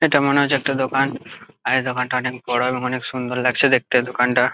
এটা মনে হচ্ছে একটা দোকান। আর দোকানটা অনেক বড়ো এবং সুন্দর লাগছে দেখতে এই দোকানটা।